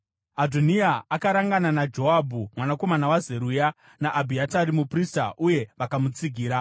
Adhoniya akarangana naJoabhu, mwanakomana waZeruya, naAbhiatari muprista uye vakamutsigira.